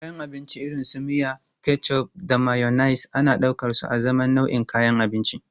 Kayan abinci irin su miya, ketchup da mayonnaise ana ɗaukarsu azaman nau'in kayan abinci.